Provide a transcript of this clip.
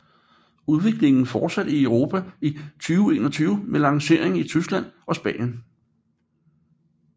Udviklingen fortsatte i Europa i 2021 med lancering i Tyskland og Spanien